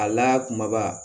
A la kumaba